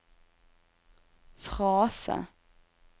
frase